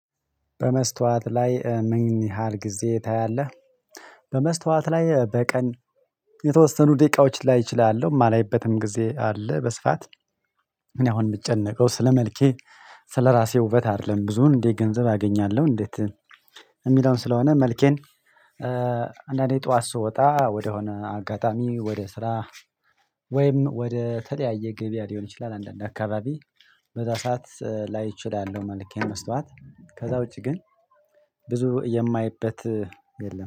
በመስታወት ላይ ምን ያህል ጊዜ ታያለህ? በመስታወት ላይ በቀን የተወሰኑ ደቂቃዎች ላይ እችላለሁ የማላይበትም ጊዜ አለ። በስፋት እኔ አሁን የምጨነቀው ስለመልኬ። ራሴ ውበት አይደለም ብዙን እንዴ ገንዘብ አገኛለሁ እንዴት? የሚለውን ስለሆነ መልኬን አንዳንዴ ጠዋት ስወጣ ወደሆነ አጋጣሚ ወደ ስራ። ወይም ወደ ተለያየ ገበያ ሊሆን ይችላል አንዳንድ አካባቢ። በዛ ሰዓት ላይ እችላለሁ መልኬ መስታወት ከዛ ውጪ ግን ብዙ የማይበት የለም